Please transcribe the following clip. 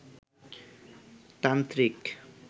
তান্ত্রিক